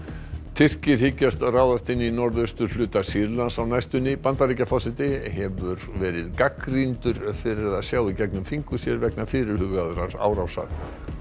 Tyrkir hyggjast ráðast inn í norðausturhluta Sýrlands á næstunni Bandaríkjaforseti hefur verið gagnrýndur fyrir að sjá í gegnum fingur sér vegna fyrirhugaðrar árásar